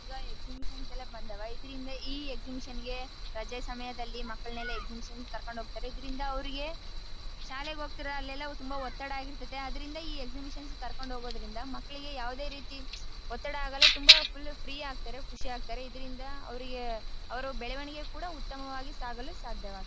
ಈಗ ಎಕ್ಸಿಬಿಷನ್ ಎಲ್ಲ ಬಂದವ ಇದರಿಂದ ಈ ಎಕ್ಸಿಬಿಷನ್ ಗೆ ರಜೆ ಸಮಯದಲ್ಲಿ ಮಕ್ಕಳನೆಲ್ಲ ಎಕ್ಸಿಬಿಷನ್ ಕರ್ಕೊಂಡು ಹೋಗ್ತಾರೆ ಇದರಿಂದ ಅವರಿಗೆ ಶಾಲೆಗೆ ಹೋಗ್ತಾರೆ ಅಲ್ಲೆಲ್ಲ ತುಂಬಾ ಒತ್ತಡ ಆಗಿರ್ತಾತ್ತಿ ಅದರಿಂದ ಈ ಎಕ್ಸಿಬಿಷನ್ ಗೆ ಕೋರಿಕೊಂಡು ಹೋಗೋದರಿಂದ ಮಕ್ಕಳಿಗೆ ಯಾವದೇ ರೀತಿ ತುಂಬಾ ಆಗೋಲ್ಲ ತುಂಬಾ ಫುಲ್ಲ್ ಫ್ರೀ ಆಗ್ತಾರೆ ಖುಷಿ ಆಗ್ತಾರೆ ಇದರಿಂದ ಅವರಿಗೆ ಅವರು ಬೆಳವಣಿಗೆ ಕೂಡ ಉತ್ತಮವಾಗಿ ಸಾಗಲು ಸಾಧ್ಯ ಆಗ್ತದ್ದೆ.